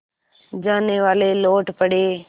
जानेवाले लौट पड़े